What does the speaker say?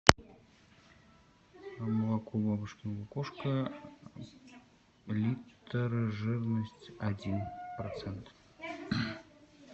молоко бабушкино лукошко литр жирность один процент